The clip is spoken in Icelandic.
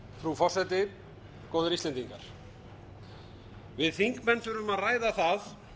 frú forseti góðir íslendingar við þingmenn þurfum að ræða það